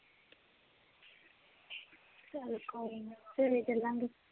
ਚਲ ਕੋਈ ਨਾ ਸਵੇਰੇ ਚਲਾਂਗੇ